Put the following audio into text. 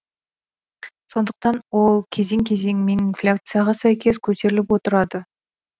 сондықтан ол кезең кезеңімен инфляцияға сәйкес көтеріліп отырады